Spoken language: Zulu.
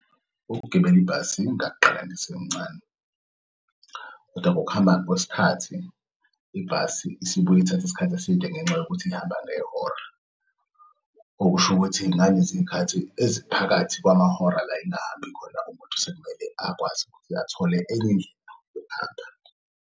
Ukugibela ibhasi ngakuqala ngisemncane, kodwa ngokuhamba kwesikhathi ibhasi isibuy'ithath'isikhathi eside ngenxa yokuthi ihamba ngehora. Okusho ukuthi ngaleziy'khathi eziphakathi kwamahora la ingahambi khona umuntu sekumele akwazi ukuthi athole enyindlela yokuhamba.